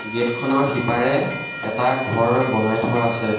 Gate খনৰ সিপাৰে এটা ঘৰ বনাই থোৱা আছে।